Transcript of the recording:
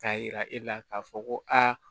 K'a jira e la k'a fɔ ko aa